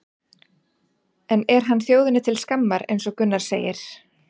En er hann þjóðinni til skammar eins og Gunnar segir?